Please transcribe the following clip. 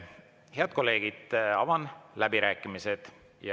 Head kolleegid, avan läbirääkimised.